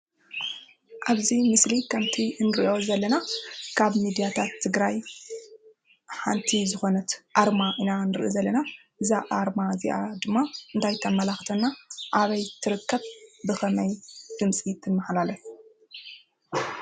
ኣብዚ ምስሊ ከምቲ እንሪኦ ዘለና ካብ ምድያታት ትግራይ ሓንቲ ዝኮነት ኣርማ ኢና ንርኢ ዘለና። እዛ ኣርማ እዚኣ ድማ እንታይ ተማላክተና ? ኣበይ ትርከብ? ብከመይ ድምፂ ተመሓላልፍ።